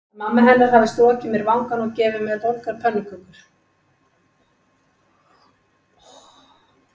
Að mamma hennar hefði strokið mér vangann og gefið mér volgar pönnukökur.